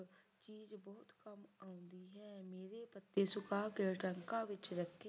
ਪੱਤੇ ਸੁਕਾ ਕੇ ਟਰੰਕਾ ਦੇ ਵਿੱਚ